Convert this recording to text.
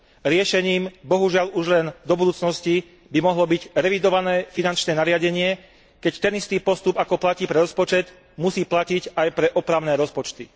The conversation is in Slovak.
Riešením, bohužiaľ už len do budúcnosti, by mohlo byť revidované finančné nariadenie, keď ten istý postup ako platí pre rozpočet, musí platiť aj pre opravné rozpočty.